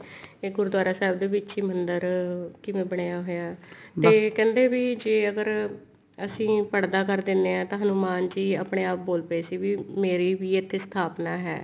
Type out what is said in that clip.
ਇਹ ਗੁਰੂਦਵਾਰਾ ਸਾਹਿਬ ਦੇ ਵਿੱਚ ਹੀ ਮੰਦਿਰ ਕਿਵੇਂ ਬਣਿਆ ਹੋਇਆ ਤੇ ਕਹਿੰਦੇ ਵੀ ਜੇ ਅਗਰ ਅਸੀਂ ਪੜਦਾ ਕਰ ਦਿੰਨੇ ਹਾਂ ਹਨੁਮਾਨ ਜੀ ਆਪਣੇ ਆਪ ਬੋਲਪੇ ਸੀ ਮੇਰੀ ਵੀ ਇੱਥੇ ਸਥਾਪਨਾ ਹੈ